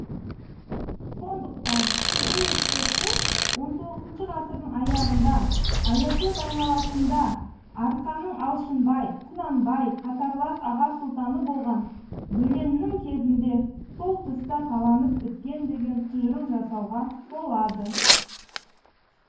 сондықтан бұл ескерткіштер хіх ғасырдың аяғында аякөз айналасында арқаның алшынбай құнанбай қатарлас аға сұлтаны болған бөленнің кезінде сол тұста таланып біткен деген тұжырым жасауға болады